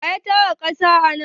Wa ya tara ƙasa anan?